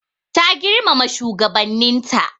Ta girmama shigabannin ta.